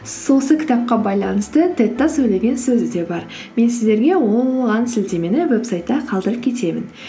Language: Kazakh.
осы кітапқа байланысты тед та сөйлеген сөзі де бар мен сіздерге оған сілтемені веб сайтта қалдырып кетемін